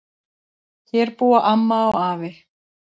Hér búa amma og afi.